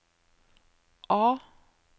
A